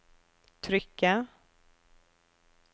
trykket